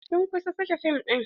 Sun kusa sake fim ɗin.